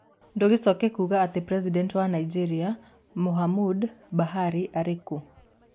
Ndũgĩcoke kũigua atĩ President wa Nigeria Muhammadu Buhari arĩ kũ?